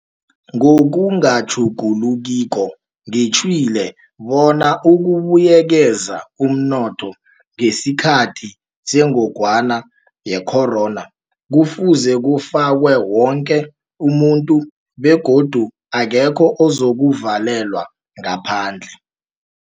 Ngokungatjhugulukiko ngitjhwile bona ukubuyekeza umnotho ngesikhathi seNgogwana yeCorona kufuze kufake woke umuntu, begodu akekho ozokuvalelwa ngaphandle.